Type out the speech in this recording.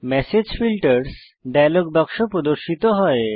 message filters dialog বাক্স প্রদর্শিত হয়